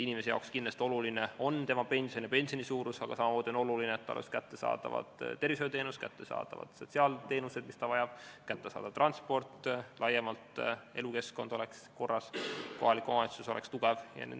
Inimesele on kindlasti oluline tema pensioni suurus, aga samamoodi on oluline, et oleks kättesaadavad tervishoiuteenused ja sotsiaalteenused, mida ta vajab, et oleks kättesaadav transport, elukeskkond laiemalt oleks korras, kohalik omavalitsus oleks tugev.